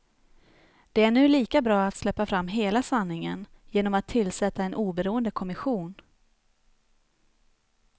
Det är nu lika bra att släppa fram hela sanningen genom att tillsätta en oberoende kommission.